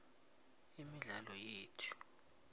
imidlalo yethu